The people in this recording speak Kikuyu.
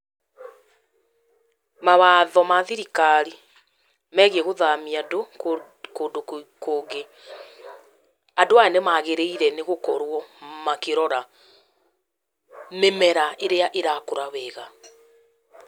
Mawatho ma thirikari, megĩi gũthamia andũ, kũndũ kũngĩ. Andũ aya nĩ maagĩrĩire nĩ gũkorwo makĩrora, mĩmera irĩa ĩrakũra wega.